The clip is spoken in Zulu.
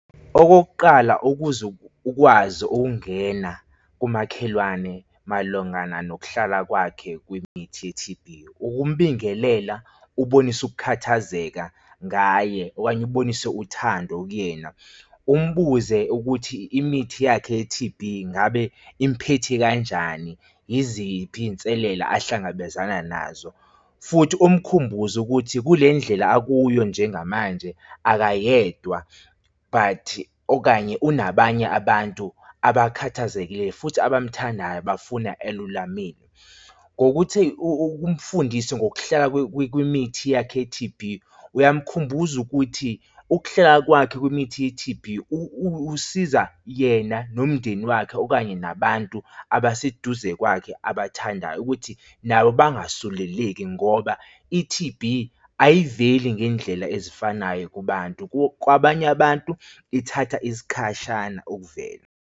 Okokuqala ukuze ukwazi ukungena kumakhelwane malungana nokuhlala kwakhe kwimithi ye-T_B, ukumbingelela ubonise ukukhathazeka ngaye, okanye ubonise uthando kuyena. Umbuze ukuthi imithi yakhe ye-T_B ngabe imphethe kanjani? Yiziphi iy'nselela ahlangabezana nazo? Futhi umkhumbuze ukuthi kule ndlela akuyo njengamanje akayedwa but okanye unabanye abantu abakhathazekile futhi abamuthandayo bafuna elulamile. Ngokuthi umfundise ngokuhlala kwimithi yakho ye-T_B uyamkhumbula ukuthi ukuhlala kwakhe kwimithi ye-T_B usiza yena nomndeni wakhe okanye nabantu abaseduze kwakhe abathandayo ukuthi nabo bangasuleleki ngoba i-T_B ayiveli ngendlela ezifanayo kubantu kwabanye abantu ithatha isikhashana ukuvela.